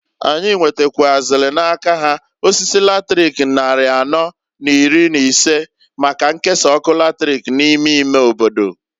Anyị nwetakwụazịlị n'aka ha osisi latrik nnarị anọọ n'iri n'ise, maka nkesa ọkụ latrik n'ime ime obodo.